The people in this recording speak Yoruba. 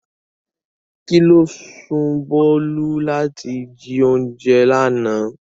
Kí ló sún Bolu láti jí oúnjẹ lánàá?